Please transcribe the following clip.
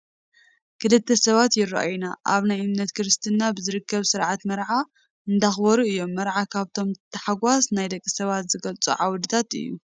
ክልተ ሰባት ይራኣዩና፡፡ ኣብ ናይ እምነት እስልምና ብዝርከብ ስርዓተ መርዓ እንዳኽበሩ እዮም፡፡ መርዓ ካብቶም ታሕጋስ ናይ ደቂ ሰባት ዝገልፁ ዓውድታት እዩ፡፡